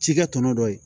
Cikɛ tɔnɔ dɔ ye